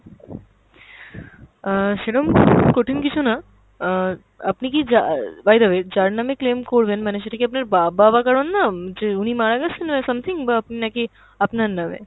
অ্যাঁ সেরম কঠিন কিছু না, অ্যাঁ আপনি কি যা~ by the way যার নামে claim করবেন মানে সেটা কি আপনার বা~ বাবা কারোর নাম যে উনি মারা গেছেন something বা আপনি নাকি আপনার নামে?